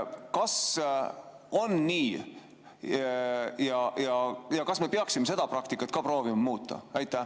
Kas on nii ja kas me peaksime seda praktikat ka proovima muuta?